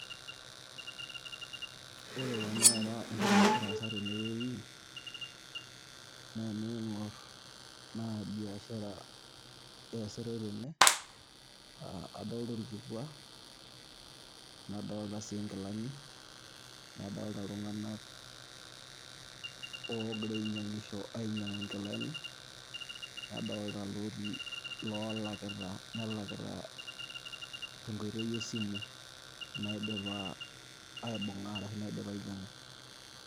Ore tanakata entoki nagira aasa tenewei, na ening'or biashara eesitai tene, adolta orkikua, nadolta si nkilani, nadolta iltung'anak ogira ainyang'isho ainyang'u nkilani, nadolta lotii lolakita tenkoitoi esimu, naidipa aibung'a ashu naidipa ainyang'u.